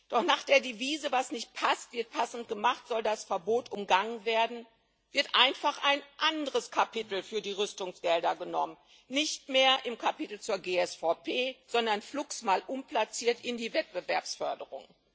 Doch nach der Devise Was nicht passt, wird passend gemacht soll das Verbot umgangen werden, wird einfach ein anderes Kapitel für die Rüstungsgelder genommen nicht mehr im Kapitel zur GSVP, sondern flugs mal umplatziert in die Wettbewerbsförderung.